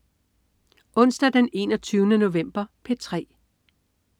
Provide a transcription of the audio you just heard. Onsdag den 21. november - P3: